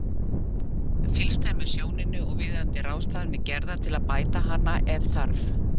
Fylgst er með sjóninni og viðeigandi ráðstafanir gerðar til að bæta hana ef þarf.